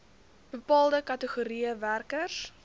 bepaalde kategorieë werkers